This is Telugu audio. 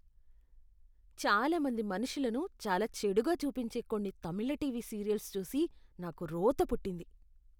చాలా మంది మనుషులను చాలా చెడుగా చూపించే కొన్ని తమిళ టీవీ సీరియల్స్ చూసి నాకు రోత పుట్టింది.